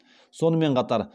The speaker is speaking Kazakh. сонымен қатар